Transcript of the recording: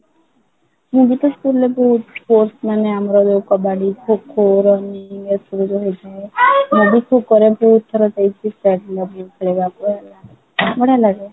ମୁଁ ବି ତ school ରେ ବହୁତ sports ମାନେ ଆମର ଯୋଉ କବାଡି, ଖୋଖୋ, running ମୁଁ ବି ଖୋ କ ର ବହୁତ ଥର ପାଇଛି ବଢିଆ ଲାଗେ